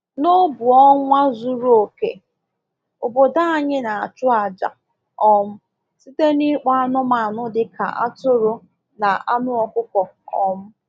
N'obu ọnwa zuru oke, obodo anyị na-achụ àjà um site n'ịkpọ anụmanụ dị ka atụrụ na anụ ọkụkọ. um